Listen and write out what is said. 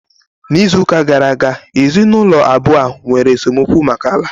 N'izuụka gara aga, ezinụlọ abụọ a nwere esemokwu maka ala